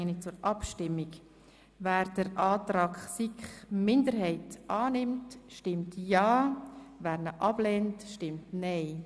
Wer den Antrag der SiK-Minderheit annimmt, stimmt ja, wer ihn ablehnt, stimmt nein.